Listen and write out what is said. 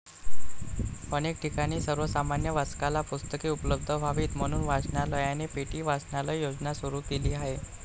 अनेक ठिकाणी सर्वसामान्य वाचकाला पुस्तके उपलब्ध व्हावीत म्हणून वाचनालयाने 'पेटी वाचनालय' योजना सुरू केली आहे.